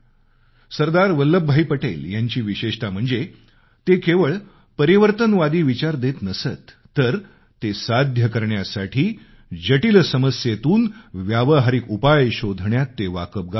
सरदार वल्लभभाई पटेल यांची विशेषता म्हणजे ते केवळ परिवर्तनवादी विचार देत नसत तर ते साध्य करण्यासाठी जटील समस्येतून व्यावहारिक उपाय शोधण्यात ते वाकबगार होते